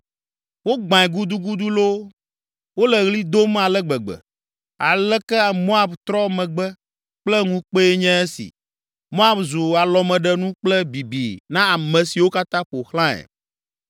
“Wogbãe gudugudu loo! Wole ɣli dom ale gbegbe! Aleke Moab trɔ megbe kple ŋukpee nye esi! Moab zu alɔmeɖenu kple bibi na ame siwo katã ƒo xlãe.”